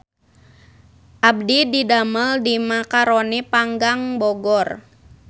Abdi didamel di Macaroni Panggang Bogor